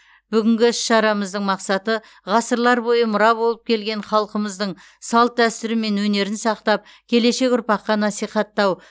бүгінгі іс шарамыздың мақсаты ғасырлар бойы мұра болып келген халқымыздың салт дәстүрі мен өнерді сақтап келешек ұрпаққа насихаттау